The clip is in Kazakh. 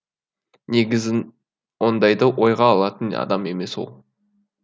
негізі ондайды ойға алатын адам емес ол